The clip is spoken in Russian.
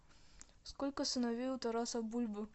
сколько сыновей у тараса бульбы